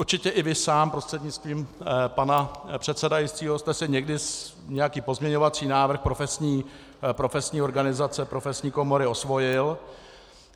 Určitě i vy sám, prostřednictvím pana předsedajícího, jste si někdy nějaký pozměňovací návrh profesní organizace, profesní komory osvojil.